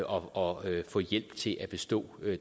og få hjælp til at bestå